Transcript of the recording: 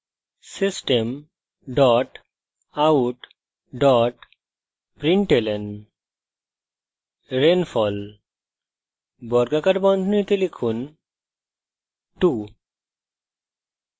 system dot out dot println rainfall বর্গাকার বন্ধনীতে লিখুন 2